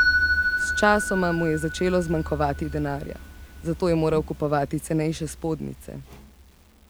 Sčasoma mu je začelo zmanjkovati denarja, zato je moral kupovati cenejše spodnjice.